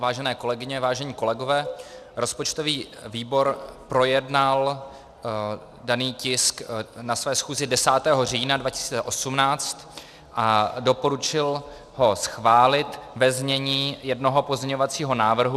Vážené kolegyně, vážení kolegové, rozpočtový výbor projednal daný tisk na své schůzi 10. října 2018 a doporučil ho schválit ve znění jednoho pozměňovacího návrhu.